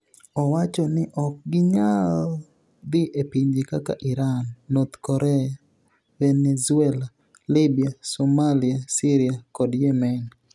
Owacho nii ok giniyal dhi e pinije kaka Irani, north Korea, Veni ezuela, Libya, Somalia, Syria, kod Yemeni.